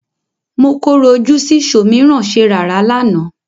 Mọ korò ojú sí ṣòmìrán-ṣerààrá lánàá.